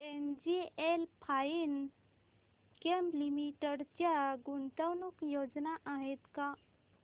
NGL Finechem Limited च्या गुंतवणूक योजना आहेत का